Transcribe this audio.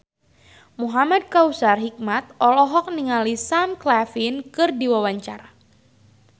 Muhamad Kautsar Hikmat olohok ningali Sam Claflin keur diwawancara